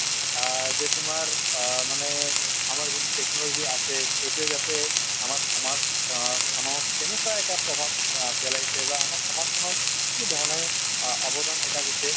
অ, যে তোমাৰ অ মানে আমাৰ যিটো technology আছে সেইটোয়ে যাতে আমাৰ সমাজ অ খনক কেনেকুৱা এটা প্ৰভাৱ অ পেলাইছে বা আমাৰ সমাজখনক কিধৰণে অ অৱদান এটা দিছে